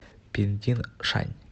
пиндиншань